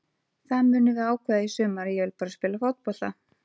Það munum við ákveða í sumar, ég vil bara spila fótbolta.